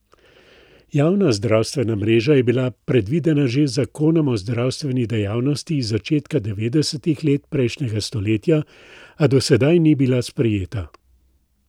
Javna zdravstvena mreža je bila predvidena že z zakonom o zdravstveni dejavnosti iz začetka devetdesetih let prejšnjega stoletja, a do sedaj ni bila sprejeta.